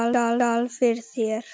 Skál fyrir þér!